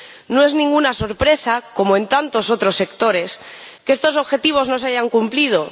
No es ninguna sorpresa, como en tantos otros sectores, que estos objetivos no se hayan cumplido